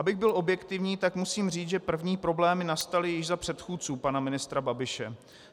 Abych byl objektivní, tak musím říct, že první problémy nastaly již za předchůdců pana ministra Babiše.